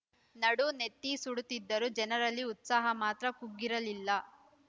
ನಡು ನೆತ್ತಿ ಸುಡುತ್ತಿದ್ದರೂ ಜನರಲ್ಲಿ ಉತ್ಸಾಹ ಮಾತ್ರ ಕುಗ್ಗಿರಲಿಲ್ಲ